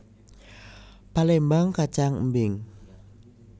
Palémbang kacang embing